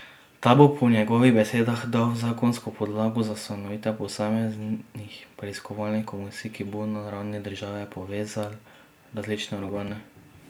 Ta bo po njegovih besedah dal zakonsko podlago za ustanovitev posameznih preiskovalnih komisij, ki bo na ravni države povezal različne organe.